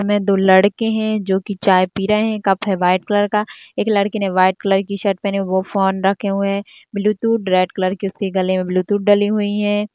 इसमें दो लड़के हैं जो कि चाय पी रहे हैं कप है वाइट कलर का एक लड़के ने वाइट कलर की शर्ट पहने हैं वह फोन रखे हुए हैं ब्लूटूथ रेड कलर के उसके गले में ब्लूटूथ डली हुई है।